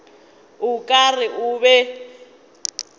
o ka re o be